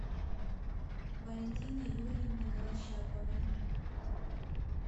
валентины юрьевны голощаповой